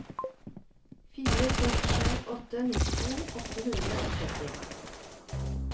fire seks sju åtte nittito åtte hundre og tretti